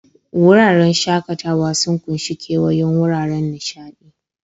Wuraren shakatawa sun ƙunshi kewayon wuraren nishaɗi.